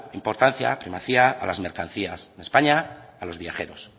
importancia primacía a las mercancías en españa a los viajeros